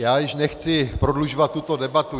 Já již nechci prodlužovat tuto debatu.